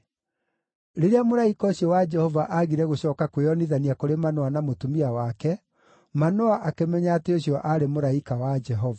Rĩrĩa mũraika ũcio wa Jehova aagire gũcooka kwĩyonithania kũrĩ Manoa na mũtumia wake, Manoa akĩmenya atĩ ũcio aarĩ mũraika wa Jehova.